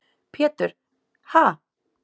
Pétur: Ha?